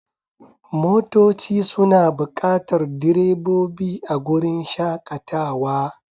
Motoci suna buƙatar direbobi a wurin shakatawa.